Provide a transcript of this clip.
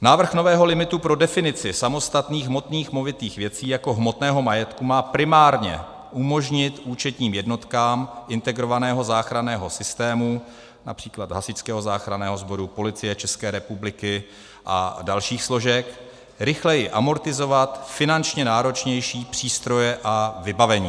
Návrh nového limitu pro definici samostatných hmotných movitých věcí jako hmotného majetku má primárně umožnit účetním jednotkám integrovaného záchranného systému, například hasičského záchranného sboru, Policie České republiky a dalších složek, rychleji amortizovat finančně náročnější přístroje a vybavení.